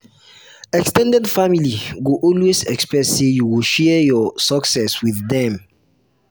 ex ten ded family go always expect say you go share your success with dem.